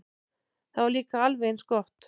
Það var líka alveg eins gott.